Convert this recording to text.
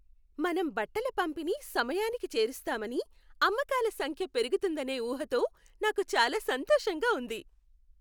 మనం బట్టల పంపిణీ సమయానికి చేరుస్తామని, అమ్మకాల సంఖ్య పెరుగుతుందనే ఊహతో నాకు చాలా సంతోషంగా ఉంది.